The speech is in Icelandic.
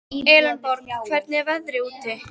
Elenborg, hvernig er veðrið úti?